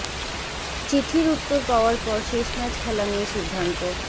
চিঠির উত্তর পাওয়ার পর শেষ ম্যাচ খেলা নিয়ে সিদ্ধান্ত